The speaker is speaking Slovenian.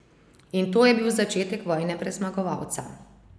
In to je bil začetek vojne brez zmagovalca.